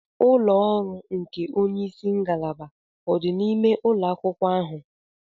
Ulọ ọrụ nke onye isi ngalaba odi n'ime ụlọ akwụkwọ ahụ?